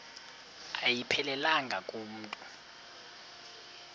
ayiphelelanga ku mntu